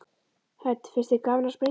Hödd: Finnst þér gaman að sprengja?